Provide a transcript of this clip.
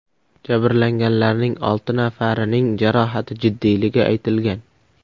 Jabrlanganlarning olti nafarining jarohati jiddiyligi aytilgan.